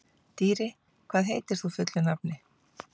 Dýri, hvað heitir þú fullu nafni?